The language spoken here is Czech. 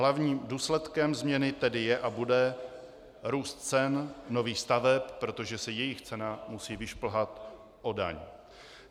Hlavním důsledkem změny tedy je a bude růst cen nových staveb, protože se jejich cena musí vyšplhat o daň.